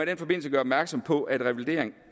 den forbindelse gøre opmærksom på at revalidering